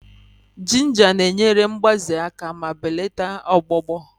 Jinja na-enyere mgbaze aka ma belata ọgbụgbọ